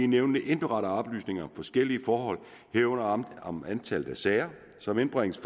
nævnene indberetter oplysninger om forskellige forhold herunder om om antallet af sager som indbringes